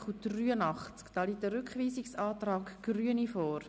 Es liegt ein Rückweisungsantrag der Grünen vor.